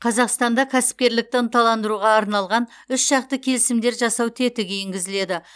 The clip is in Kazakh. қазақстанда кәсіпкерлікті ынталандыруға арналған үшжақты келісімдер жасау тетігі енгізіледі